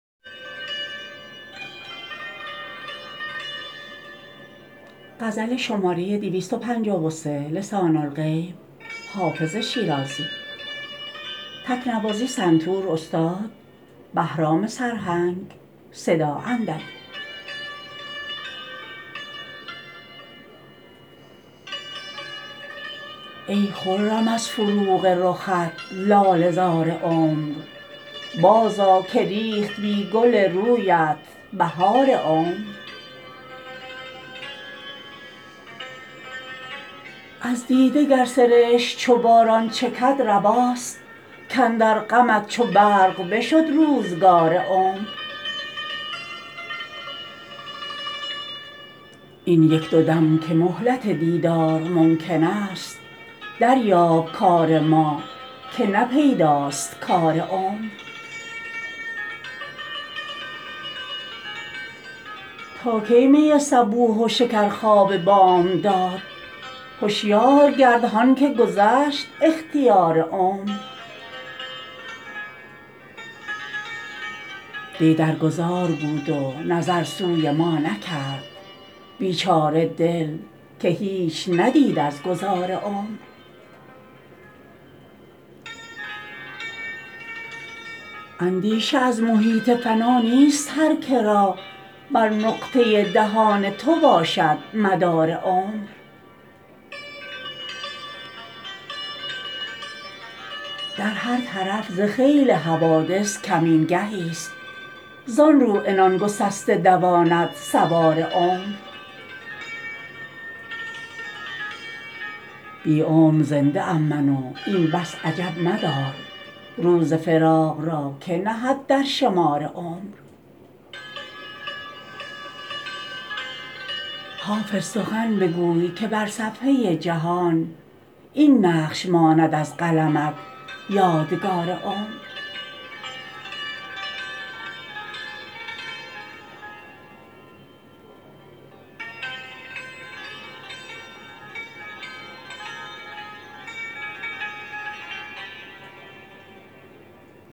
ای خرم از فروغ رخت لاله زار عمر بازآ که ریخت بی گل رویت بهار عمر از دیده گر سرشک چو باران چکد رواست کاندر غمت چو برق بشد روزگار عمر این یک دو دم که مهلت دیدار ممکن است دریاب کار ما که نه پیداست کار عمر تا کی می صبوح و شکرخواب بامداد هشیار گرد هان که گذشت اختیار عمر دی در گذار بود و نظر سوی ما نکرد بیچاره دل که هیچ ندید از گذار عمر اندیشه از محیط فنا نیست هر که را بر نقطه دهان تو باشد مدار عمر در هر طرف ز خیل حوادث کمین گهیست زان رو عنان گسسته دواند سوار عمر بی عمر زنده ام من و این بس عجب مدار روز فراق را که نهد در شمار عمر حافظ سخن بگوی که بر صفحه جهان این نقش ماند از قلمت یادگار عمر